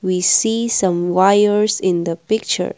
we see some wires in the picture.